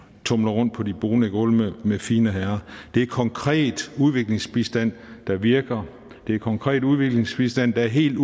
tumler rundt på de bonede gulve med fine herrer det er konkret udviklingsbistand der virker det er konkret udviklingsbistand der er helt